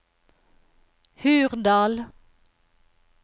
Hurdal